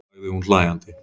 sagði hún hlæjandi.